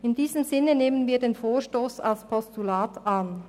In diesem Sinne nehmen wir den Vorstoss als Postulat an.